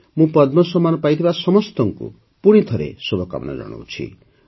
ମୁଁ ପଦ୍ମ ସମ୍ମାନ ପାଇଥିବା ସମସ୍ତଙ୍କୁ ପୁଣିଥରେ ଶୁଭକାମନା ଜଣାଉଛି